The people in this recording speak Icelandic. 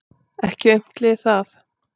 Ekki aumt lið það.